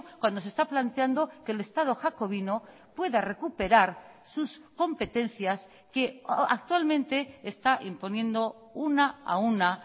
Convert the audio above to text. cuando se está planteando que el estado jacobino pueda recuperar sus competencias que actualmente está imponiendo una a una